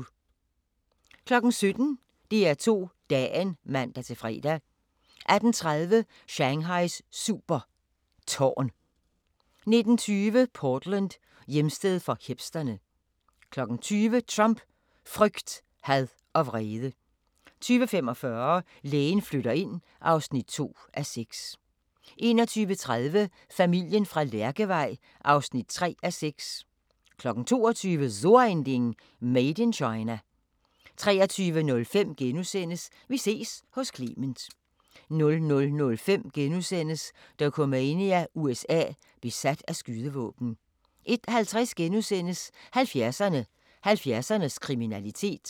17:00: DR2 Dagen (man-fre) 18:30: Shanghais super tårn 19:20: Portland: Hjemsted for hipsterne 20:00: Trump: frygt, had og vrede 20:45: Lægen flytter ind (2:6) 21:30: Familien fra Lærkevej (3:6) 22:00: So ein Ding: Made in China 23:05: Vi ses hos Clement * 00:05: Dokumania: USA – besat af skydevåben * 01:50: 70'erne: 70'ernes kriminalitet *